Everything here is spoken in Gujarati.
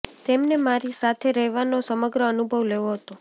તેમને મારી સાથે રહેવાનો સમગ્ર અનુભવ લેવો હતો